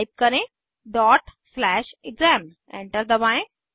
type करें exam enter दबाएं